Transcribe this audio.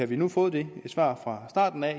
vi nu fået det svar fra starten af